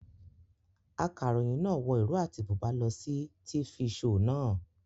Akaròyìn náà wọ ìró àti bùbá lọ sí tifi shoò naa